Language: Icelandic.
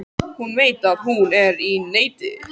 Hún veit að hún er í neti.